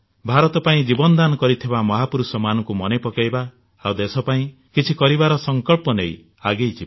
ଭାରତ ପାଇଁ ଜୀବନ ଦାନ କରିଥିବା ମହାପୁରୁଷମାନଙ୍କୁ ମନେ ପକାଇବା ଆଉ ଦେଶପାଇଁ କିଛି କରିବାର ସଂକଳ୍ପ ନେଇ ଆଗେଇ ଯିବା